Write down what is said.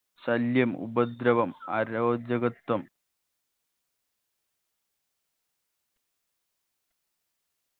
ശല്യം ഉപദ്രവം അരോചകത്വം